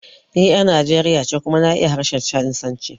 Ni 'yar Nijeriya ce kuma na iya harshen Chanisanci.